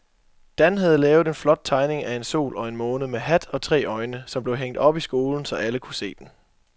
Dan havde lavet en flot tegning af en sol og en måne med hat og tre øjne, som blev hængt op i skolen, så alle kunne se den.